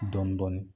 Dɔɔnin dɔɔnin